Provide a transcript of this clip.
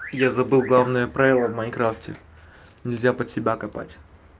я забыл главное правило в майнкрафте нельзя под себя копать